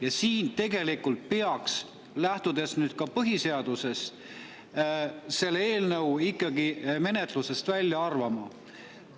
Ja siin peaks, lähtudes ka põhiseadusest, selle eelnõu ikkagi menetlusest välja arvama.